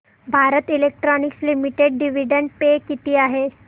Bharat electronics limited dividend pay किती आहे